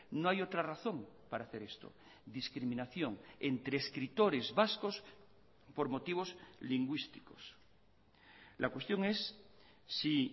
no hay otra razón para hacer esto discriminación entre escritores vascos por motivos lingüísticos la cuestión es si